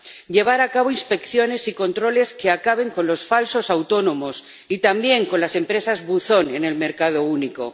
llevar a cabo inspecciones y controles que acaben con los falsos autónomos y también con las empresas buzón en el mercado único.